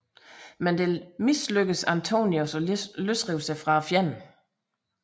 Men det mislykkedes Antonius at løsrive sig fra fjenden